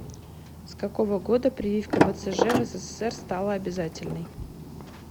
с какого года прививка бцж в ссср стала обязательной